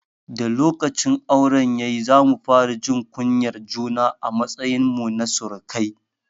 Da lokacin auren ya yi, za mu fara jin kunyar juna a matsayin mu na surukai.